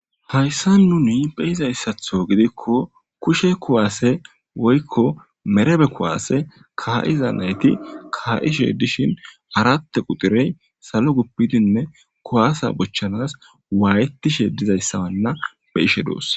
Hayssan nuni be'zassaththo gidiko kushe kuwase woykko merebe kuwase kaa'iza nayti kaa'ishe dishin arat qutirey salo guppidinne kuwase bochchanas wayetishe dizayssa na be'ishe doos.